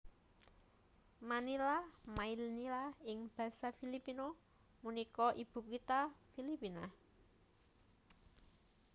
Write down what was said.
Manila Maynila ing basa Filipino punika ibukitha Filipina